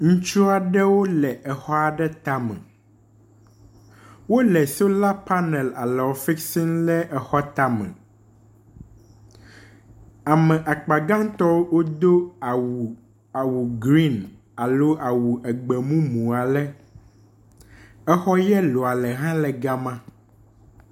Ŋutsu aɖewo le exɔ aɖe tame. Wole solar panel alɔ fix m le exɔa tame. Ame akpa gãtɔ wodo awu green alo awu egbemumu ale. Exɔ yellow ale hã le gama.